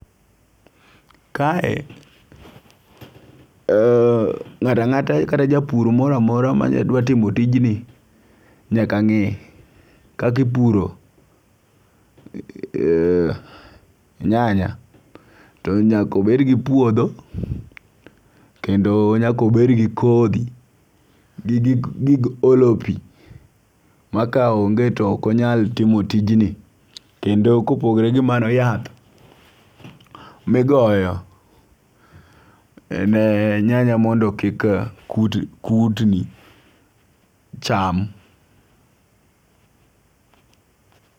Kae ng'ata ng'ata kata japur moramora mane dwa timo tijni nyaka ng'e kaki puro nyanya. To nyako bed gi puodho kendo nyako bed gi kodhi gi gik olo pii ma ka onge to ok onyal timo tijni kendo kopogore gi mano yath migoyo e nyanya mondo kik kutni cham